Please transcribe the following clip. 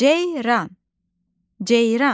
Ceyran, ceyran.